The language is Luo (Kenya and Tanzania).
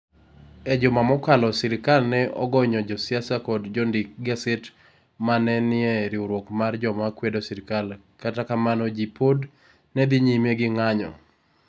E juma mokalo, sirkal ne ogonyo josiasa kod jondik gaset ma ne nie riwruok mar joma kwedo sirkal, kata kamano, ji pod ne dhi nyime gi ng'anyo.